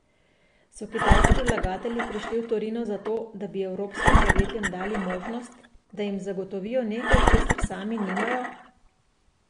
So kitajski vlagatelji prišli v Torino zato, da bi evropskim podjetjem dali možnost, da jim zagotovijo nekaj, česar sami nimajo?